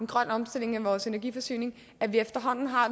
grøn omstilling af vores energiforsyning at vi efterhånden har